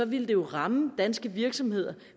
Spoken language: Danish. ville det ramme danske virksomheder